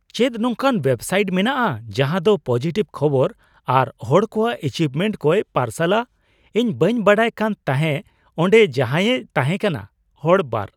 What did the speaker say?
ᱪᱮᱫ ᱱᱚᱝᱠᱟᱱ ᱳᱭᱮᱵᱥᱟᱭᱤᱴ ᱢᱮᱱᱟᱜᱼᱟ ᱡᱟᱦᱟᱸ ᱫᱚ ᱯᱚᱡᱤᱴᱤᱵᱷ ᱠᱷᱚᱵᱚᱨ ᱟᱨ ᱦᱚᱲ ᱠᱚᱣᱟᱜ ᱮᱪᱤᱵᱷᱢᱮᱱᱴ ᱠᱚᱭ ᱯᱟᱨᱥᱟᱞᱟ ? ᱤᱧ ᱵᱟᱹᱧ ᱵᱟᱰᱟᱭ ᱠᱟᱱ ᱛᱟᱦᱮᱸᱜ ᱚᱸᱰᱮ ᱡᱟᱦᱟᱸᱭᱮ ᱛᱟᱦᱮᱸᱠᱟᱱᱟ ᱾ (ᱦᱚᱲ ᱒)